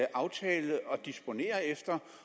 aftale at disponere efter